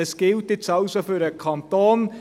» Dies gilt nun für den Kanton;